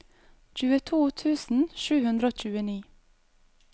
tjueto tusen sju hundre og tjueni